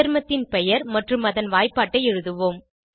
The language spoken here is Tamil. சேர்மத்தின் பெயர் மற்றும் அதன் வாய்ப்பாட்டை எழுதுவோம்